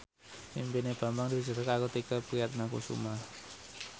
impine Bambang diwujudke karo Tike Priatnakusuma